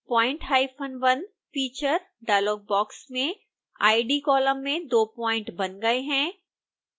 point1: features dialog box में id column में दो प्वाइंट बन गए हैं